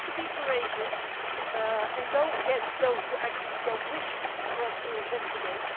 we have to be courageous and go against those who actually do not wish us to investigate.